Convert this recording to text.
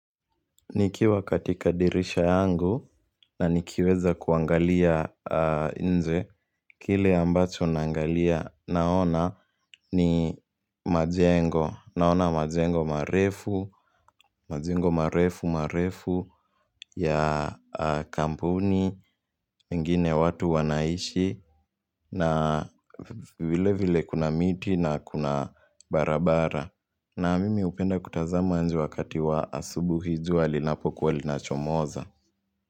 Nikiwa katika dirisha yangu na nikiweza kuangalia nje, kile ambacho naangalia naona ni majengo, naona majengo marefu, majengo marefu, marefu ya kampuni, mengine watu wanaishi na vile vile kuna miti na kuna barabara. Na mimi hupenda kutazama nje wakati wa asubuhi jua linapokuwa linachomoza.